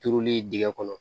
Turuli dingɛ kɔnɔ